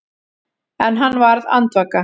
En hann varð andvaka.